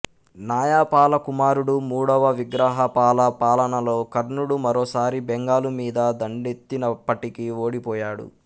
నాయపాల కుమారుడు మూడవ విగ్రహాపాల పాలనలో కర్ణుడు మరోసారి బెంగాలు మీద దండెత్తినప్పటికీ ఓడిపోయాడు